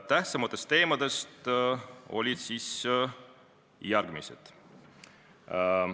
Tähtsamad teemad olid järgmised.